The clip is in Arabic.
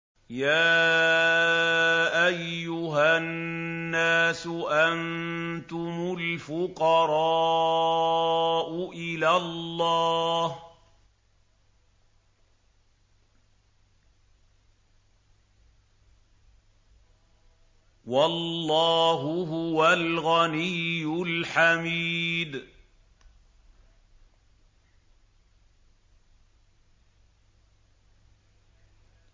۞ يَا أَيُّهَا النَّاسُ أَنتُمُ الْفُقَرَاءُ إِلَى اللَّهِ ۖ وَاللَّهُ هُوَ الْغَنِيُّ الْحَمِيدُ